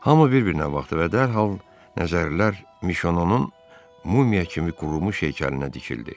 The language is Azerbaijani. Hamı bir-birinə baxdı və dərhal nəzərlər Mişonun mumya kimi qurulmuş heykəlinə dikildi.